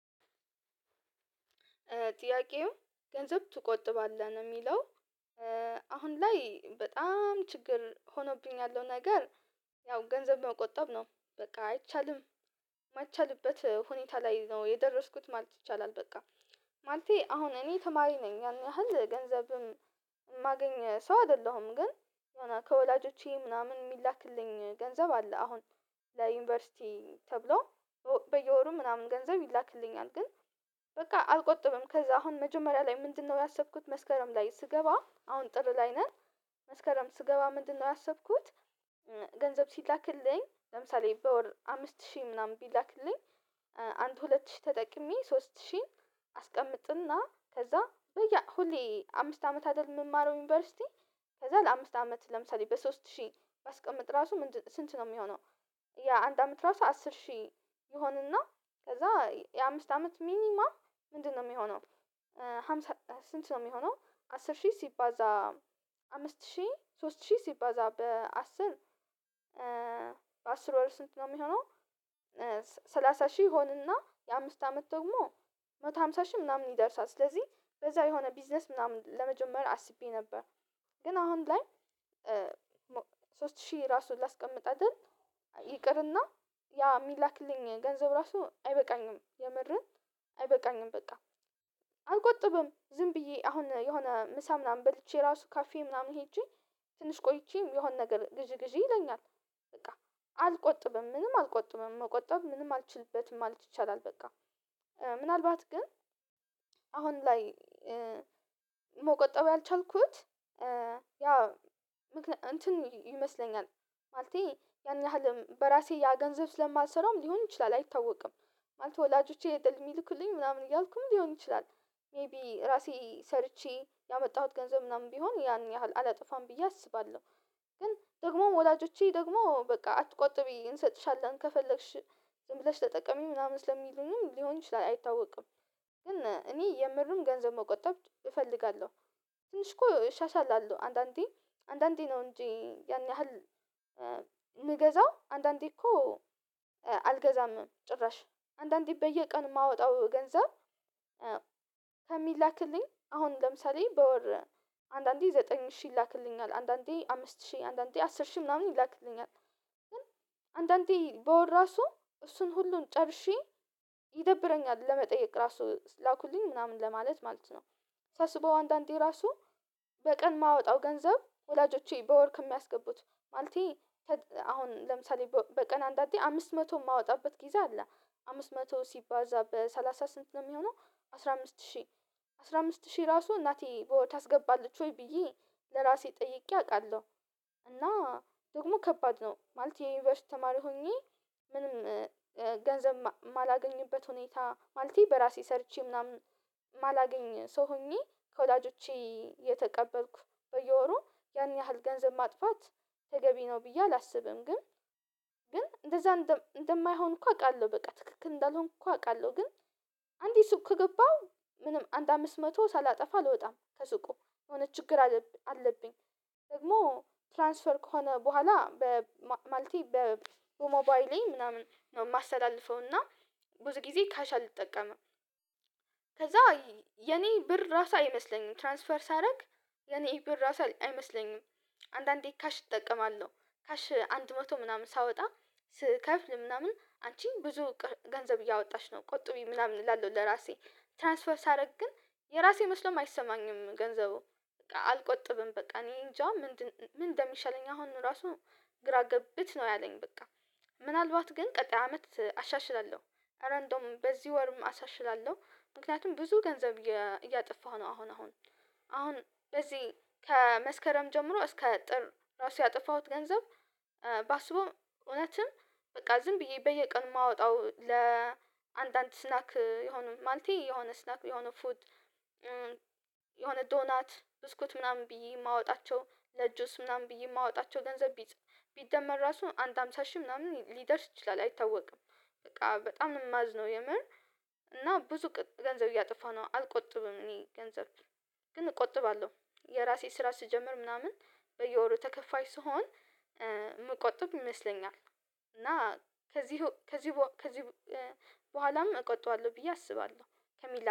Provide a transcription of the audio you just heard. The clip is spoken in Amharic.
ጥያቄው ገንዘብ ትቆጥባለህ የሚለው? አሁን ላይ በጣም ችግር ሁኖብኝ ያለው ነገር ያው ገንዘብ መቆጠብ ነው በቃ አይቻልም የማይቻልበት ሁኔታ ላይ ነው የደረስኩት ማለት ይቻላል። በቃ ማለቴ አሁን እኔ ተማሪ ነኝ ያህል ገንዘብም የማገኝ ሰው አይደለሁም ግን የሆነ ከወላጆቼ ምናምን የሚላክልኝ ገንዘብ አለ። አሁን ለዩኒቨርሲቲ ተብሎ በየወሩ ምናምን ገንዘብ ይላክልኛል ግን በቃ አልቆጥብም። ከዛ አሁን መጀመሪያ ላይ ምንድነው ያሰብኩት መስከረም ላይ ስገባ አሁን ጥር ላይ ነን መስከረም ስገባ ምንድነው ያሰብኩት? ገንዘብ ሲላክልኝ ለምሳሌ በወር አምስት ሺህ ምናምን ቢላክልኝ። አንድ ሁለት ሺህ ተጠቅሜ ሶስት ሺህን አስቀምጥና ከዛ በየ ሁሌ አምስት አመት አይደል የምማረው ዩኒቨርሲቲ። ከዛ ለአምስት አመት ለምሳሌ በሶስት ሺህ ራስቀመጥ ራሱ ምን ስንት ነው የሚሆነው? የአንድ አመት ራሱ አስር ሺህ ይሆንና ከዛ የአምስት አመት ሚኒማፕ ምንድነው የሚሆነው? ሃምሳ ስንት ነው የሚሆነው አስር ሺህ ሲባዛ አምስት ሺህ ሶስት ሺህ ሲባዛ በአስር በአስር ወር ስንት ነው የሚሆነው? ሰላሳ ሺህ ሆነና የአምስት አመት ደግሞ መቶ ሃምሳ ሺህ ምናምን ይደርሳል። ስለዚህ በዛ የሆነ ቢዝነስ ምናምን ለመጀመሪያ አስቤ ነበር። ግን አሁን ላይ ሶስት ሺህ ራሱን ላስቀምጥ አይደል ይቅርና ያ የሚላክልኝ ገንዘብ ራሱ አይበቃኝም። የመረን አይበቃኝም በቃ አልቆጥብም ዝም ብዬ አሁን የሆነ ምሳ ምናምን በልቼ ራሱ ካፌ ምናምን ሄጄ ትንሽ ቆይቼም የሆነ ነገር ግዢ ግዢ ይለኛል በቃ አልቆጥብም ምንም አልቆጥብም መቆጠብ ምንም አልችልበትም ማለት ይቻላል። በቃ ምናልባት ግን አሁን ላይ መቆጠብ ያልቻልኩት ያ እንትን ይመስለኛል ማለቴ ያን ያህል በራሴ ያ ገንዘብ ስለማልሰራውም ሊሆን ይችላል አይታወቅም። ማለት ወላጆቼ የሚልኩልኝ ምናምን እያልኩም ሊሆን ይችላል። ሜይቢ ራሴ ሰርቼ ያመጣሁት ገንዘብ ምናምን ቢሆን ያን ያህል አላጠፋም ብዬ አስባለሁ። ግን ደግሞ ወላጆቼ ደግሞ በቃ አትቆጥቢ እንሰጥሻለን ከፈለግሽ ግን ብለሽ ለጠቀመኝ ምናምን ስለሚሉኝም ሊሆን ይችላል አይታወቅም ግን እኔ የምርም ገንዘብ መቆጠብ እፈልጋለሁ። ትንሽ እኮ እሻሻላለሁ አንዳንዴ አንዳንዴ ነው እንጂ ያን ያህል የምገዛው አንዳንዴ እኮ አልገዛም ጭራሽ አንዳንዴ በየቀን የማወጣው ገንዘብ ከሚላክልኝ አሁን ለምሳሌ በወር አንዳንዴ ዘጠኝ ሺህ ይላክልኛል አንዳንዴ አምስት ሺህ አንዳንዴ አስር ሺህ ምናምን ይላክልኛል ግን አንዳንዴ በወር ራሱ እሱን ሁሉን ጨርሼ ይደብረኛል ለመጠየቅ ራሱ ላኩልኝ ምናምን ለማለት ማለት ነው። ሳስበው አንዳንዴ ራሱ በቀን የማወጣው ገንዘብ ወላጆቼ በወር ከሚያስገቡት ማለቴ አሁን ለምሳሌ በቀን አንድ አንድ አንድ አምስት መቶ የማወጣበት ጊዜ አለ አምስት መቶ ሲባዛ በሰላሳ ስምንት ነው የሚሆነው አስራ አምስት ሺህ አስራ አምስት ሺህ ራሱ እናቴ በወር ታስገባለች ወይ ብዬ ለራሴ ጠይቄ አውቃለሁ። እና ደግሞ ከባድ ነው ማለት የዩኒቨርሲቲ ተማሪ ሆኜ ምንም ገንዘብ ማላገኝበት ሁኔታ ማለቴ በራሴ ሰርቼ ምናምን ማላገኝ ሰው ሆኜ ከወዳጆቼ የተቀበልኩ በየወሩ ያን ያህል ገንዘብ ማጥፋት ተገቢ ነው ብዬ አላስብም። ግን ግን እንደዛ እንደማይሆን እኮ አውቃለሁ በቃ ትክክል እንዳልሆንኩ እኮ አውቃለሁ ግን አንዴ ሱቅ ከገባሁ ምንም አንድ አምስት መቶ ሳላጠፋ አልወጣም ከሱቁ የሆነ ችግር አለብኝ። ደግሞ ትራንስፈር ከሆነ በኋላ በማለቴ በሞባይሌ ምናምን ነው የማሳልፈው ብዙ ጊዜ ካሽ አልጠቀምም። ከዛ የኔ ብር ራሳ አይመስለኝም ትራንስፈር ሳደርግ ለኔ ይሄ ብር ራሱ አይመስለኝም። አንዳንዴ ካሽ እጠቀማለሁ ካሽ አንድ መቶ ምናምን ሳወጣ ስከፍል ምናምን አንቺ ብዙ ገንዘብ እያወጣች ነው ቆጥቢ ምናምን እላለሁ ለራሴ ትራንስፈር ሳደርግ ግን የራሴ መስሎም አይሰማኝም ገንዘቡ አልቆጥብም በቃ እኔ እንጃ ምንድን ምን እንደሚሻለኝ አሁን ራሱ ግራ ገብት ነው ያለኝ በቃ ምናልባት ግን ቀጣይ አመት አሻሽላለሁ። ኧረ እንደውም በዚህ ወርም አሻሽላለሁ ምክንያቱም ብዙ ገንዘብ እያጠፋሁ ነው አሁን አሁን አሁን በዚህ ከመስከረም ጀምሮ እስከ ጥር ራሱ ያጠፋሁት ገንዘብ። ባስበው እውነትም በቃ ዝም ብዬ በየቀን የማወጣው ለአንዳንድ ስናክ የሆነ ማልቴ የሆነ ስናክ የሆነ ፉድ የሆነ ዶናት ብስኩት ምናምን ብዬ የማወጣቸው ለጁስ ምናምን ብዬ የማወጣቸው ገንዘብ ቢደመር ራሱን አንድ ሃምሳ ሺህ ምናምን ሊደርስ ይችላል አይታወቅም በቃ በጣም እማዝነው የምር። እና ብዙ ገንዘብ እያጠፋ ነው አልቆጥብም እኔ ገንዘብ ግን እቆጥባለሁ። የራሴ ስራ ስጀምር ምናምን በየወሩ ተከፋይ ስሆን መቆጠብ ይመስለኛል። እና ከዚህ ከዚህ ከዚህ በኋላም እቆጥበዋለሁ ብዬ አስባለሁ ከሚል